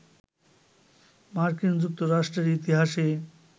মার্কিন যুক্তরাষ্ট্রের ইতিহাসে